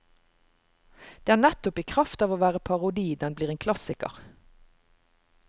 Det er nettopp i kraft av å være parodi den blir en klassiker.